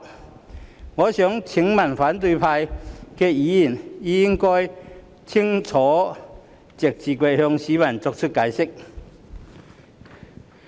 這一點，我想請反對派議員清楚直接向市民解釋。